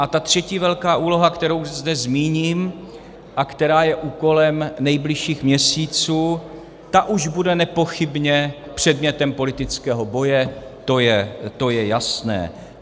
A ta třetí velká úloha, kterou zde zmíním a která je úkolem nejbližších měsíců, ta už bude nepochybně předmětem politického boje, to je jasné.